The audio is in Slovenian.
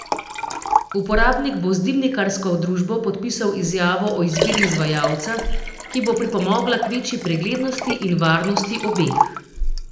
Uporabnik bo z dimnikarsko družbo podpisal izjavo o izbiri izvajalca, ki bo pripomogla k večji preglednosti in varnosti obeh.